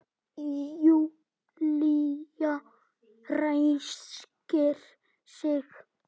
Júlía ræskir sig.